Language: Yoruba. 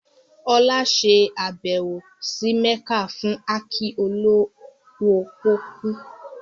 Olá ṣe àbẹ̀wò sí Mẹ́kà fún áàkì olówó pọ́kú